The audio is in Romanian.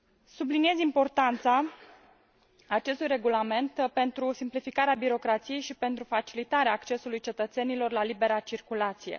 Subliniez importanța acestui regulament pentru simplificarea birocrației și pentru facilitarea accesului cetățenilor la libera circulație.